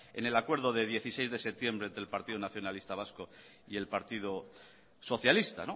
en el acuerdo del dieciséis de septiembre del partido nacionalista vasco y el partido socialista